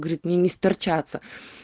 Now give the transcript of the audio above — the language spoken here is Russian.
говорит мне не сторчаться